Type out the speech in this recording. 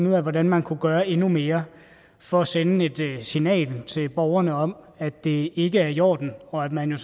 ud af hvordan man kunne gøre endnu mere for at sende et signal til borgerne om at det ikke er i orden og at man jo